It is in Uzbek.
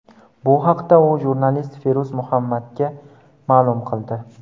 Bu haqda u jurnalist Feruz Muhammadga ma’lum qildi.